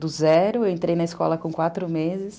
Do zero eu entrei na escola com quatro meses.